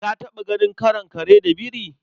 Ka taɓa ganin karon kare da biri?